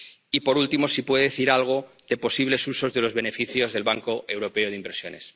Y, por último, si puede decir algo de los posibles usos de los beneficios del Banco Europeo de Inversiones.